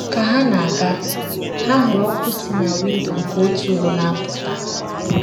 Ka ha na - aga, ha hụrụ ọkụ si na windo nke otu ụlọ na - apụta.